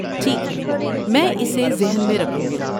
ٹھیک ہے. میں اسے ذہن میں رکھوں گی۔